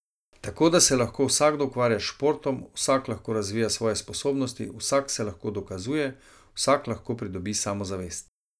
Tako da se lahko vsakdo ukvarja s športom, vsak lahko razvija svoje sposobnosti, vsak se lahko dokazuje, vsak lahko pridobi samozavest.